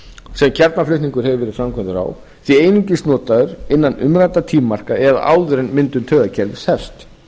sem kjarnaflutningur hefur verið framkvæmdur á sé einungis notaður innan umræddra tímamarka eða áður en myndun taugakerfis hefst